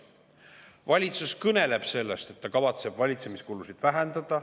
Valitsus kõneleb sellest, et ta kavatseb valitsemiskulusid vähendada.